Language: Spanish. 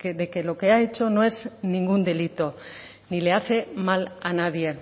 de que lo que ha hecho no es ningún delito ni le hace mal a nadie